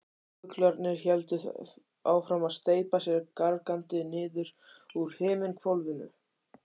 Fuglarnir héldu áfram að steypa sér gargandi niður úr himinhvolfinu.